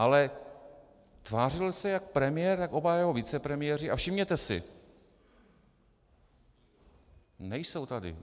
Ale tvářil se jak premiér, tak oba jeho vicepremiéři - a všimněte si, nejsou tady!